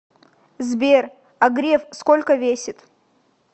сбер а греф сколько весит